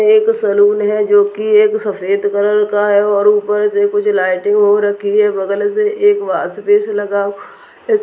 एक सैलून है जो की एक सफेद कलर का है और ऊपर से कुछ लाइटिंग हो रखी है बगल से एक वॉसपेश लगा हुआ है।